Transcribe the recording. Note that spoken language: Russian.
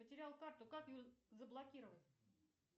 потерял карту как ее заблокировать